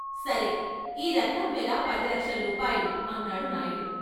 సరే! ఈ రత్నం వెల పది లక్షల రూపాయలు అన్నాడు నాయుడు.